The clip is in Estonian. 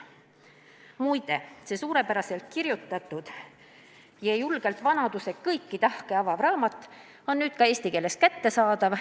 " Muide, see suurepäraselt kirjutatud ja julgelt vanaduse kõiki tahke avav raamat on nüüd ka eesti keeles kättesaadav.